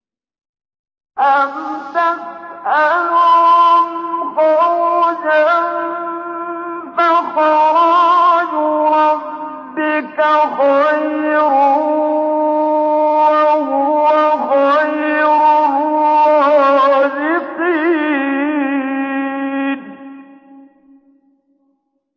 أَمْ تَسْأَلُهُمْ خَرْجًا فَخَرَاجُ رَبِّكَ خَيْرٌ ۖ وَهُوَ خَيْرُ الرَّازِقِينَ